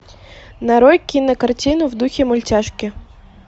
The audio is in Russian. нарой кинокартину в духе мультяшки